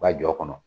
U ka jɔ kɔnɔ